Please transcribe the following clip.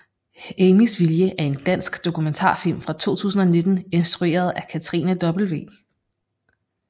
Amys vilje er en dansk dokumentarfilm fra 2019 instrueret af Katrine W